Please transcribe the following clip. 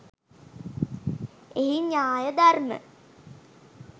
එහි න්‍යාය ධර්ම